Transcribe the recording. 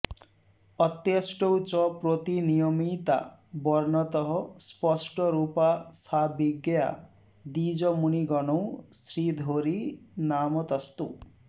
अत्यष्टौ च प्रतिनियमिता वर्णतः स्पष्टरूपा सा विज्ञेया द्विजमुनिगणैः श्रीधरी नामतस्तु